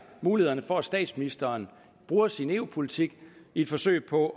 mulighederne for at statsministeren bruger sin eu politik i et forsøg på